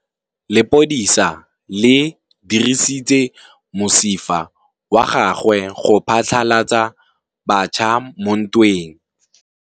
Lepodisa le dirisitse mosifa wa gagwe go phatlalatsa batšha mo ntweng.